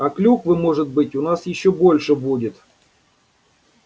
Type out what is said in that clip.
а клюквы может быть у нас ещё больше будет